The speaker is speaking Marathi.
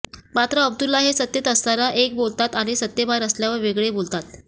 मात्र अब्दुल्ला हे सत्तेत असताना एक बोलतात आणि सत्तेबाहेर असल्यावर वेगळे बोलतात